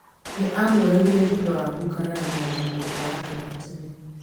nĩ aamũragire thutha wa gũkararania na mwendwa wake wa tene